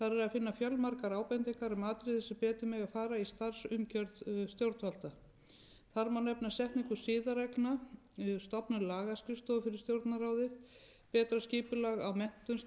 finna fjölmargar ábendingar atriði sem betur mega fara í starfsumgjörð stjórnvalda þar má nefna setningu siðareglna stofnun lagaskrifstofu fyrir stjórnarráðið betra skipulag á menntun starfsmanna til dæmis í formi stjórnsýsluskóla